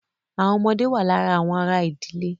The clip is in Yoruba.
Àwọn ọmọdé wà lára àwọn ará ìdílé.